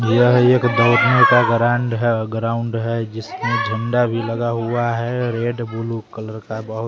यह एक दौड़ने का ग्रांड है ग्राउंड है जिसमें झंडा भी लगा हुआ है रेड ब्लू कलर का बहुत--